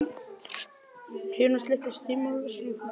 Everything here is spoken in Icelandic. Hrafnfífa, stilltu tímamælinn á fimmtíu og sjö mínútur.